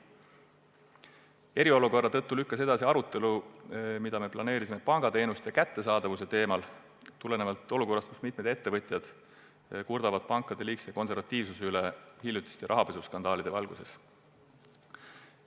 Eriolukorra tõttu lükkus edasi arutelu, mida olime planeerinud pangateenuste kättesaadavuse teemal tulenevalt olukorrast, kus mitmed ettevõtjad kurdavad pankade liigse konservatiivsuse üle hiljutiste rahapesuskandaalide valgel.